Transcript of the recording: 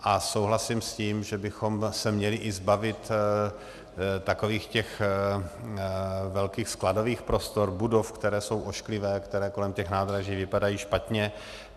A souhlasím s tím, že bychom se měli i zbavit takových těch velkých skladových prostor, budov, které jsou ošklivé, které kolem těch nádraží vypadají špatně.